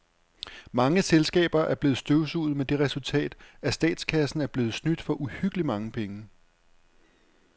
Mange selskaber er blevet støvsuget med det resultat, at statskassen er blevet snydt for uhyggeligt mange penge.